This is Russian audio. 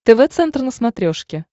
тв центр на смотрешке